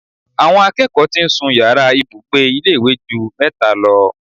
Àwọn akẹ́kọ̀ọ́ tí ń sun yàrá ìbùgbe ilé ìwé ju mẹ́ta lọ